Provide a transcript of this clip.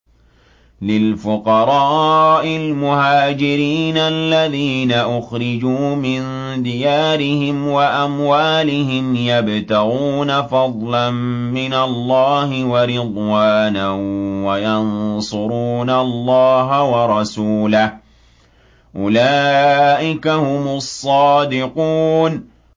لِلْفُقَرَاءِ الْمُهَاجِرِينَ الَّذِينَ أُخْرِجُوا مِن دِيَارِهِمْ وَأَمْوَالِهِمْ يَبْتَغُونَ فَضْلًا مِّنَ اللَّهِ وَرِضْوَانًا وَيَنصُرُونَ اللَّهَ وَرَسُولَهُ ۚ أُولَٰئِكَ هُمُ الصَّادِقُونَ